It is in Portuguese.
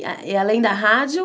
E além da rádio?